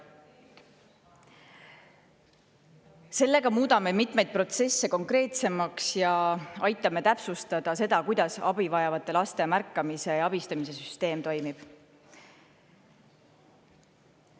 Sellega muudame mitmeid protsesse konkreetsemaks ja aitame täpsustada, kuidas abivajavate laste märkamise ja abistamise süsteem toimib.